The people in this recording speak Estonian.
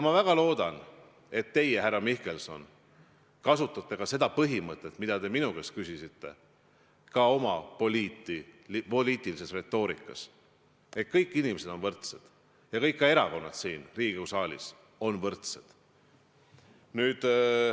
Ma väga loodan, et teie, härra Mihkelson, järgite ka seda põhimõtet, mille kohta te minu käest küsisite, ka oma poliitilises retoorikas: kõik inimesed on võrdsed ja ka kõik erakonnad siin Riigikogu saalis on võrdsed.